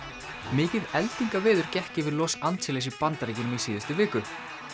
mikið gekk yfir Los Angeles í Bandaríkjunum í síðustu viku